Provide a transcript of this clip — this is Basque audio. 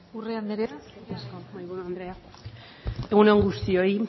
urrea anderea zurea da hitza egun on guztioi